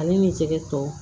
Ale ni jɛgɛ tɔ